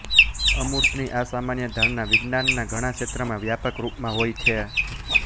અમૂર્તની આ સામાન્ય ધારણા વિજ્ઞાનના ઘણા ક્ષેત્રમાં વ્યાપક રૂપમાં હોય છે